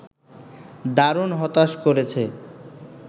দারুণ হতাশ করেছে